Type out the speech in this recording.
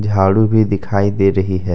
झाड़ू भी दिखाई दे रही है।